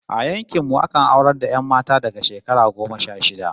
A yankin mu akan aurar da 'yan mata daga shekara goma sha shida